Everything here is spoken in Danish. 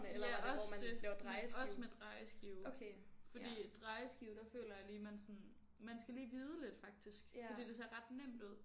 Ja også det men også med drejeskive fordi at drejeskive der føler jeg lige man sådan man skal lige vide lidt faktisk fordi det ser ret nemt ud